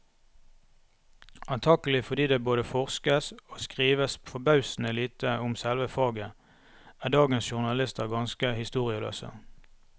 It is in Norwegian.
Antagelig fordi det både forskes og skrives forbausende lite om selve faget, er dagens journalister ganske historieløse.